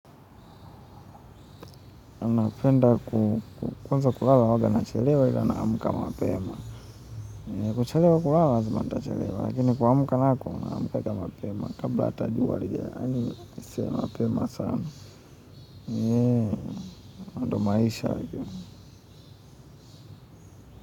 Napenda ku kwanza kulala huanga nachelewa ila naamka mapema. Kuchelewa kulala lazima nitachelewa, lakini kuamka nako, naamkanga mapema. Kabla hata jua halija. Yaani sio mapema sana. Ndio maisha hayo.